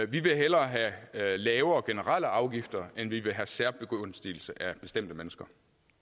vil hellere have lavere generelle afgifter end vi vil have særbegunstigelse af bestemte mennesker